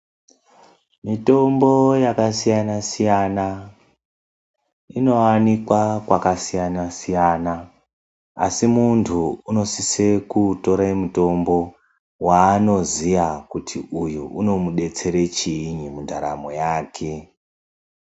Mitombo yakasiyana-siyana, inoanikwa kwakasiyana-siyana. Asi muntu unosise kutore mutombo waanoziya kuti uyu unomudetsera chiinyi mundaramo yake.